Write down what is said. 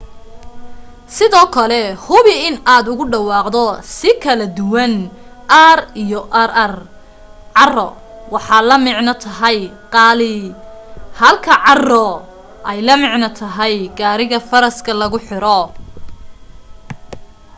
sidoo kale hubi in aad ugu dhawaaqdo si kala duwan r iyo rr caro waxaa la micno tahay qaali halka carro ay la micno tahay gariga faraska lagu xiro